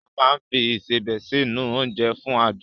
A máa ń fi Ìṣebẹ̀ sí nu oúnjẹ fún adùn